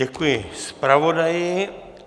Děkuji zpravodaji.